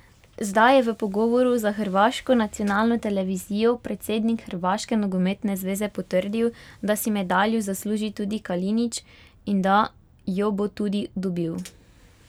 Zdaj je v pogovoru za hrvaško nacionalno televizijo predsednik hrvaške nogometne zveze potrdil, da si medaljo zasluži tudi Kalinić in da jo bo tudi dobil.